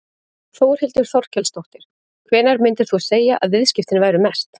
Þórhildur Þorkelsdóttir: Hvenær myndir þú segja að viðskiptin væru mest?